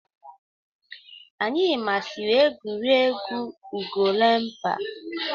Anyi masiri egwu egwu Ugelemkpa.